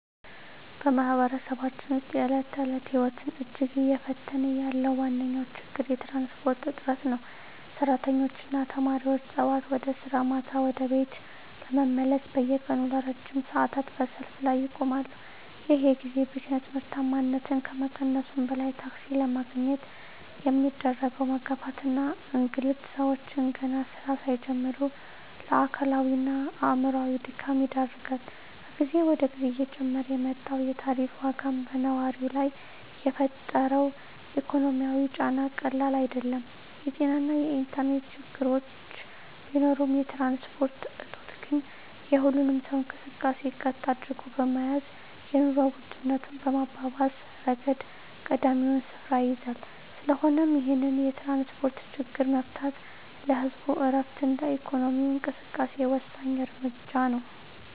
በማኅበረሰባችን ውስጥ የዕለት ተዕለት ሕይወትን እጅግ እየፈተነ ያለው ዋነኛው ችግር የትራንስፖርት እጥረት ነው። ሠራተኞችና ተማሪዎች ጠዋት ወደ ሥራ፣ ማታ ደግሞ ወደ ቤት ለመመለስ በየቀኑ ለረጅም ሰዓታት በሰልፍ ላይ ይቆማሉ። ይህ የጊዜ ብክነት ምርታማነትን ከመቀነሱም በላይ፣ ታክሲ ለማግኘት የሚደረገው መጋፋትና እንግልት ሰዎችን ገና ሥራ ሳይጀምሩ ለአካላዊና አእምሮአዊ ድካም ይዳርጋል። ከጊዜ ወደ ጊዜ እየጨመረ የመጣው የታሪፍ ዋጋም በነዋሪው ላይ የፈጠረው ኢኮኖሚያዊ ጫና ቀላል አይደለም። የጤናና የኢንተርኔት ችግሮች ቢኖሩም፣ የትራንስፖርት እጦት ግን የሁሉንም ሰው እንቅስቃሴ ቀጥ አድርጎ በመያዝ የኑሮ ውድነቱን በማባባስ ረገድ ቀዳሚውን ስፍራ ይይዛል። ስለሆነም ይህንን የትራንስፖርት ችግር መፍታት ለህዝቡ ዕረፍትና ለኢኮኖሚው እንቅስቃሴ ወሳኝ እርምጃ ነው።